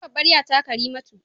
Sunan babbar ƴa ta Karimatu.